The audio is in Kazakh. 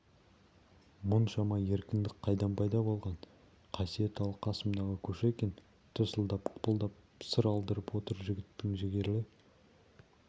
мұншама еркіндік қайдан пайда болған қасиет ал қасымдағы кушекин тырсылдап қыпылдап сыр алдырып отыр жігіттің жігерлі